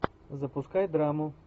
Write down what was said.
запускай драму